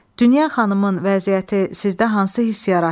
Dünya xanımın vəziyyəti sizdə hansı hiss yaratdı?